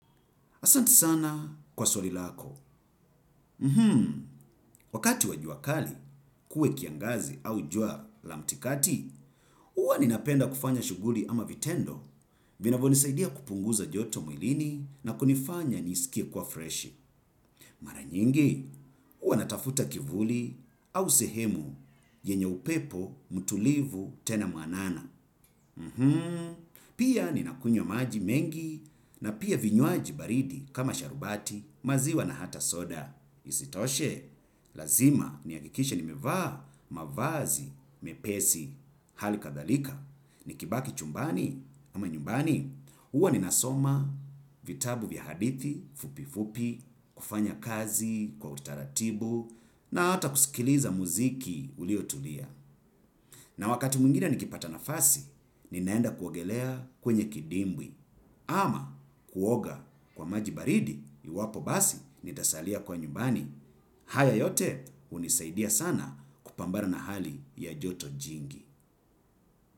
Asante sana kwa swali lako. Wakati wa jua kali, kuwe kiangazi au jua la katikati, huwa ninapenda kufanya shughuli ama vitendo. Vinavonisaidia kupunguza joto mwilini na kunifanya nisikie kuwa fresh. Mara nyingi, huwa natafuta kivuli au sehemu yenye upepo mtulivu tena mwanana. Pia ni nakunywa maji mengi na pia vinywaji baridi kama sharubati maziwa na hata soda. Isitoshe lazima ni hakikishe nimevaa mavazi mepesi hali kadhalika nikibaki chumbani ama nyumbani huwa ninasoma vitabu vya hadithi fupi fupi kufanya kazi kwa utaratibu na hata kusikiza mziki iliyo tulivu na wakati mwingine nikipata wakati ninaenda kuogelea kwenye kidimbwi ama kuoga kwa maji baridi iwapo basi nitasalia kwa nyumbani. Haya yote hunisaidia sana kupambara na hali ya joto jingi.